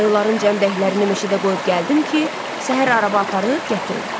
Ayıların cəmdəklərini meşədə qoyub gəldim ki, səhər araba aparıb gətirim.